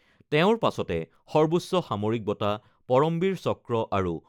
তেওঁৰ পাছতে সৰ্বোচ্চ সামৰিক বঁটা পৰমবীৰ চক্ৰ আৰু